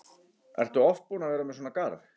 Ertu oft búin að vera með svona garð?